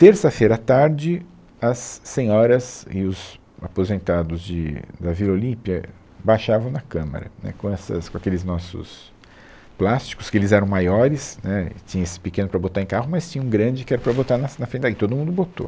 Terça-feira à tarde, as senhoras e os aposentados de, da Vila Olímpia baixavam na Câmara, né, com essas, com aqueles nossos plásticos, que eles eram maiores, né, e tinha esse pequeno para botar em carro, mas tinha um grande que era para botar nas, na frente da, e todo mundo botou.